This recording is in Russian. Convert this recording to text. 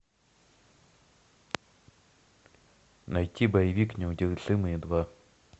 найти боевик неудержимые два